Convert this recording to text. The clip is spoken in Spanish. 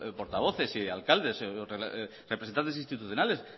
portavoces alcaldes representantes institucionales